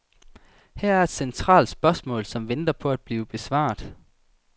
Her er et centralt spørgsmål, som venter på at blive besvaret.